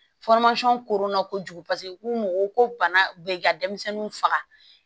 koronna kojugu paseke k'u ko bana be ka denmisɛnninw faga